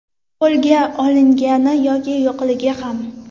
Qo‘lga olingani yoki yo‘qligi ham.